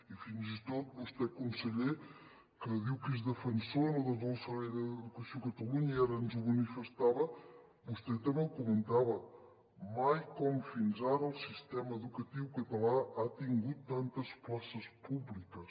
i fins i tot vostè conseller que diu que és defensor de tot el servei d’educació de catalunya i ara ens ho manifestava també ho comentava mai com fins ara el sistema educatiu català ha tingut tantes places públiques